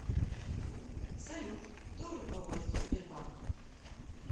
салют кто руководство сбербанка